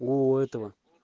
у этого